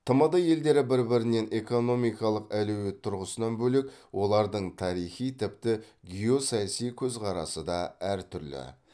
тмд елдері бір бірінен экономикалық әлеует тұрғысынан бөлек олардың тарихи тіпті геосаяси көзқарасы да әртүрлі